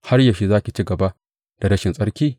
Har yaushe za ki ci gaba da rashin tsarki?